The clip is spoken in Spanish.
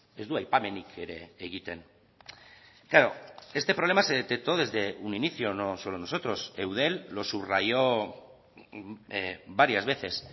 ez du aipamenik ere egiten claro este problema se detectó desde un inicio no solo nosotros eudel los subrayó varias veces